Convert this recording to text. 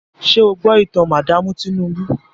Ṣé o gbọ́ ìtàn madaamu Tinúbú?